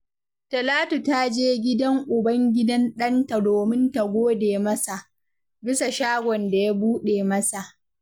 Talatu ta je gidan uban gidan ɗanta domin ta gode masa, bisa shagon da ya buɗe masa